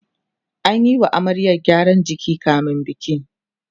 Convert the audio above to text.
ana Yi wa amaryar gyaran jiki kamin biki